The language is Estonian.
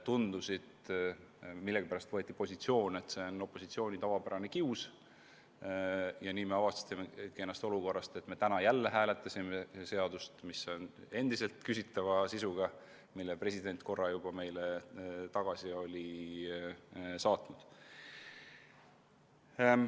Tundus, et millegipärast võeti positsioon, et see on opositsiooni tavapärane kius, ja nii me avastasimegi end olukorrast, et hääletasime täna jälle seadust, mis on endiselt küsitava sisuga ja mille president on korra juba meile tagasi saatnud.